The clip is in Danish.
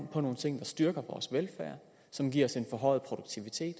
på nogle ting der styrker vores velfærd og som giver os en forhøjet produktivitet